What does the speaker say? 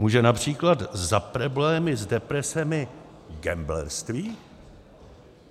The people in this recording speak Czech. Může například za problémy s depresemi gamblerství?